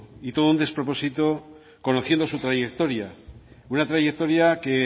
y todo un despropósito conociendo su trayectoria una trayectoria que